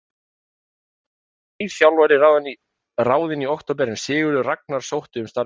Í kjölfarið verður nýr þjálfari ráðinn í október en Sigurður Ragnar sótti um starfið.